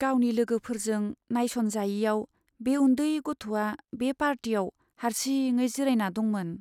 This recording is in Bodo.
गावनि लोगोफोरजों नायस'नजायैयाव बे उन्दै गथ'आ बे पार्टियाव हारसिङै जिरायना दंमोन।